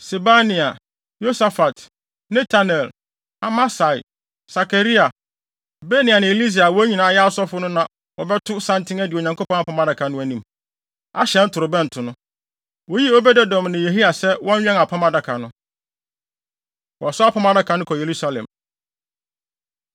Sebania, Yosafat, Netanel, Amasai, Sakaria, Benaia ne Elieser a wɔn nyinaa yɛ asɔfo no na wɔbɛto santen adi Onyankopɔn Apam Adaka no anim, ahyɛn ntorobɛnto no. Woyii Obed-Edom ne Yehia sɛ wɔnwɛn Apam Adaka no. Wɔsoa Apam Adaka No Kɔ Yerusalem